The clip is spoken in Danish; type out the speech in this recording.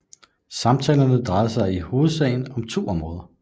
Samtalerne drejede sig i hovedsagen om to områder